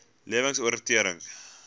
lewensoriëntering